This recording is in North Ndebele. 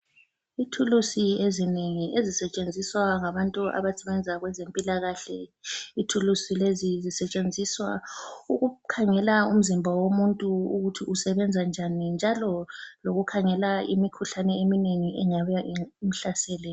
Ithulusi ezinengi ezisetshenziswa ngabantu abasebenza kwezempilakahle, ithulusi lezi zisetshenziswa ukukhangela umzimba womuntu ukuthi usebenza njani njalo lokukhangela imikhuhlane eminengi engabe imhlasele.